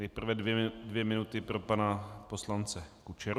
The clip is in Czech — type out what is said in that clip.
Nejprve dvě minuty pro pana poslance Kučeru.